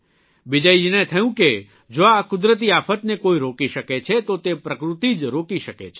બિજયજીને થયું કે જો આ કુદરતી આફતને કોઇ રોકી શકે છે તો તે પ્રકૃતિ જ રોકી શકે છે